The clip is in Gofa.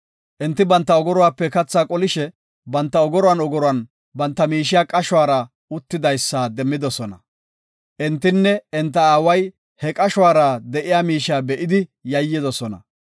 Enti banta ogoruwape kathaa qolishe, banta ogoruwan ogoruwan banta miishiya qashuwara uttidaysa demmidosona. Entinne enta aaway he qashuwara de7iya miishiya be7idi yayyidosona.